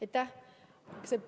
Aitäh!